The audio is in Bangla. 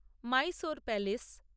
মাইসোর প্যালেস